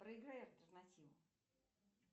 проиграй альтернативу